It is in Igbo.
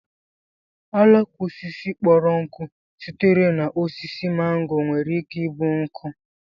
àlàká osisi kpọrọ nkụ sitere na osisi màngò nwere ike ịbụ nkụ